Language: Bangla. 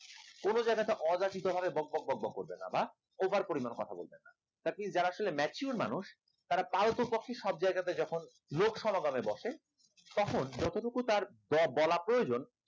কোন জায়গাতে অযাচিতভাবে বকবক বকবক করবেন না বা over পরিমাণ কথা বলবেন না atleast যারা আসলে mature মানুষ তারা পারত পক্ষে সব জায়গাতে যখন লোক সমাগমে বসে তখন যতটুকু তার বলা প্রয়োজন